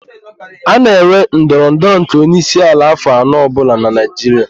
A na-enwe ndọrọ ndọrọ nke onyeisiala afọ anọ ọbụla n'Naịjiria.